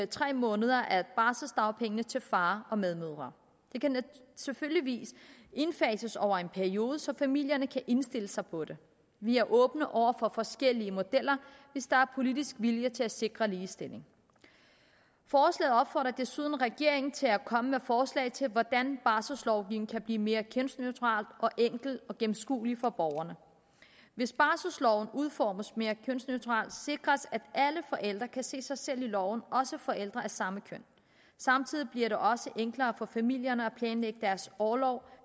tre måneder af barselsdagpengene til faren og medmødre det kan selvfølgelig indfases over en periode så familierne kan indstille sig på det vi er åbne over for forskellige modeller hvis der er politisk vilje til at sikre ligestilling forslaget opfordrer desuden regeringen til at komme med forslag til hvordan barselslovgivningen kan blive mere kønsneutral og enkel og gennemskuelig for borgerne hvis barselsorloven udformes mere kønsneutralt sikres det at alle forældre kan se sig selv i loven også forældre af samme køn samtidig bliver det også enklere for familierne at planlægge deres orlov